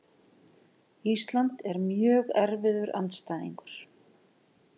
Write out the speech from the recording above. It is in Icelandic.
Ísland er mjög erfiður andstæðingur.